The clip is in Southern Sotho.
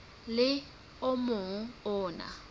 le o mong o na